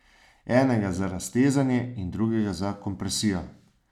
Enega za raztezanje in drugega za kompresijo.